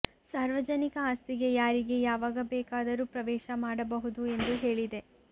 ಸಾರ್ವಜನಿಕ ಆಸ್ತಿಗೆ ಯಾರಿಗೆ ಯಾವಾಗ ಬೇಕಾದರೂ ಪ್ರವೇಶ ಮಾಡಬಹುದು ಎಂದು ಹೇಳಿದೆ